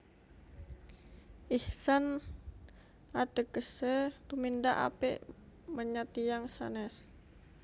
Ihsan ategese tumindak apik menyat tiyang sanes